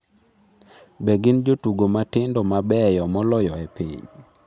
Be gin jotugo matindo mabeyo moloyo e piny?